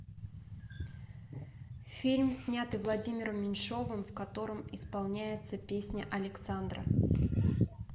фильм снятый владимиром меньшовым в котором исполняется песня александра